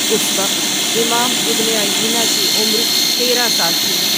اس وقت امام ابن عیینہ کی عمرتیرہ سال تھی۔